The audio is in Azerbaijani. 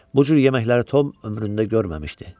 Bu cür yeməkləri Tom ömründə görməmişdi.